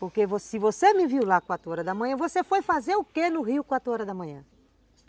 Porque vo se você me viu lá quatro horas da manhã, você foi fazer o quê no rio quatro horas da manhã?